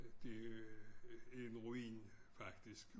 Det er en ruin faktisk